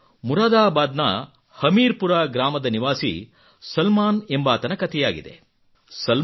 ಇದು ಮುರಾದಾಬಾದ್ ನ ಹಮೀರ್ ಪುರ ಗ್ರಾಮದ ನಿವಾಸಿ ಸಲ್ಮಾನ್ ಎಂಬಾತನ ಕತೆಯಾಗಿದೆ